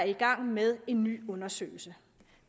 i gang med en ny undersøgelse